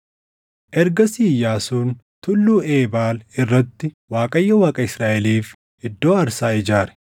Ergasii Iyyaasuun Tulluu Eebaal irratti Waaqayyo Waaqa Israaʼeliif iddoo aarsaa ijaare.